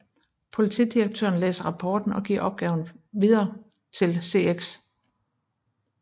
Politidirektøren læser rapporten og giver opgaven til afdeling CX igen